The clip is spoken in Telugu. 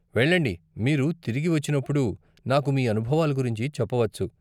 వెళ్ళండి, మీరు తిరిగి వచ్చినప్పుడు, నాకు మీ అనుభవాల గురించి చెప్పవచ్చు.